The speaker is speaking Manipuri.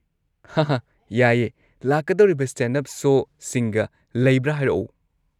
ꯍꯥꯍꯥ ꯌꯥꯏꯌꯦ! ꯂꯥꯛꯀꯗꯧꯔꯤꯕ ꯁ꯭ꯇꯦꯟꯗ-ꯑꯞ ꯁꯣꯁꯤꯡꯒ ꯂꯩꯕ꯭ꯔꯥ ꯍꯥꯏꯔꯛꯑꯣ꯫